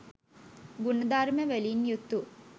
ගුණ ධර්මවලින් යුතු